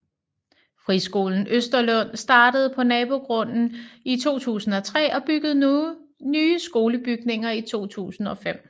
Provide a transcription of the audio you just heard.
Friskolen Østerlund startede på nabogrunden i 2003 og byggede nye skolebygninger i 2005